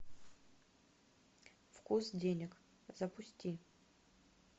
вкус денег запусти